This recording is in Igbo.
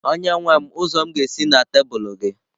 Onyenwe m ụzọ m ga-esi na tebụl gị?